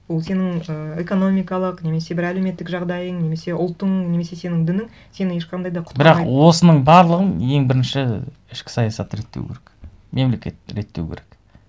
ол сенің ы экономикалық немесе бір әлеуметтік жағдайың немесе ұлтың немесе сенің дінің сені ешқандай да құтқармайды бірақ осының барлығын ең бірінші ішкі саясатты реттеу керек мемлекетті реттеу керек